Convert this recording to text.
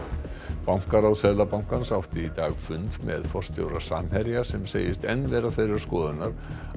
bankaráð Seðlabankans átti í dag fund með forstjóra Samherja sem segist enn vera þeirrar skoðunar að